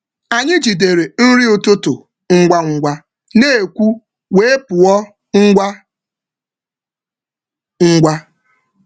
um Anyị jidere nri ụtụtụ ngwa ngwa n’ekwú wee pụọ um ngwa ngwa.